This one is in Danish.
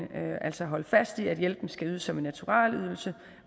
altså at holde fast i at hjælpen skal ydes som en naturalydelse